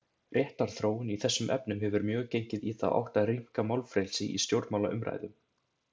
Réttarþróun í þessum efnum hefur mjög gengið í þá átt að rýmka málfrelsi í stjórnmálaumræðum.